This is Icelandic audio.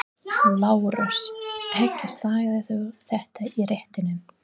LÁRUS: Ekki sagðirðu þetta í réttinum.